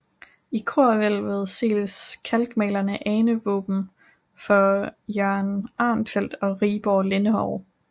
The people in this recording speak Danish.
I korhvælvet ses kalkmalede anevåben for Jørgen Arenfeldt og Rigborg Lindenov